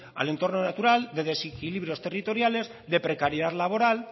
al entrono natural de desequilibrios territoriales de precariedad laboral